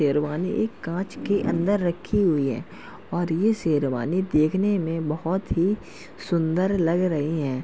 शेरवानी एक काँच के अंदर रखी हुई है और ये शेरवानी देखने में बोहोत ही सुंदर लग रही हैं।